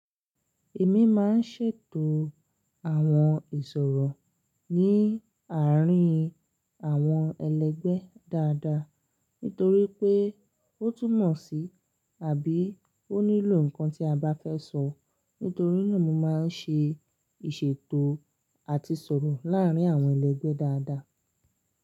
Èmi máa ń ṣètò àwọn ìṣòro ní àárín àwọn ẹlẹgbẹ́ dáadáa, nítorí pé ó túmọ̀ sí àbí ó nílò ǹkan tí a bá fẹ́ sọ. Nítorí náà mo máa ń ṣe ìṣètò àti ìṣòro láàárín àwọn ẹlẹgbẹ́ dáadáa.